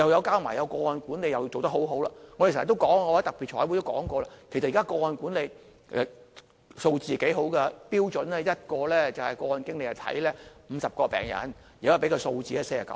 加上個案管理亦是做得很好的，我們經常說——我在特別財委會都說過——其實現在個案管理的數字不錯，標準是1名個案經理照顧50個病人，現在的數字是49個。